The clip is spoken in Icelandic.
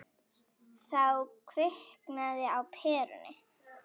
Þá kviknaði á perunni.